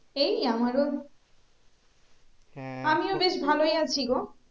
এই আমারো আমিও বেশ ভালোই আছি গো